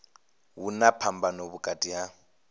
hu na phambano vhukati ha